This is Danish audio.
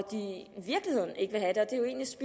hvis